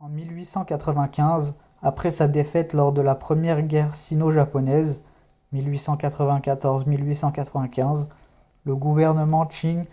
en 1895 après sa défaite lors de la première guerre sino-japonaise 1894–1895 le gouvernement qing